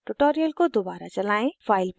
इसके बाद tutorial को दोबारा चलायें